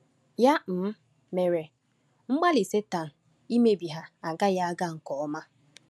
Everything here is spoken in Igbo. Ya um mere, mgbalị Satan imebi ha agaghị aga nke ọma.